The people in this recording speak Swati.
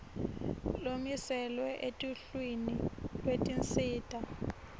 lomiselwe eluhlwini lwetinsita